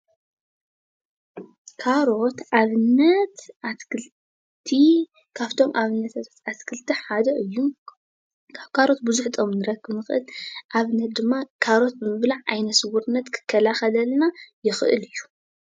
ካሮት ኣብነት ኣትክልቲ ካፍቶም ኣብነታት ኣትክልቲ ሓደ እዩ፡፡ ካብ ካሮት ብዙሕ ጥቕሚ ንረክብ ንኽእል፡፡ ኣብነት ድማ ካሮት ምብላዕ ዓይነ ስውርነት ክከላኸለልና ይኽእል እዩ፡፡